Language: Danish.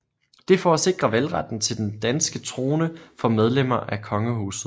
Det for at sikre valgretten til den danske trone for medlemmer af kongehuset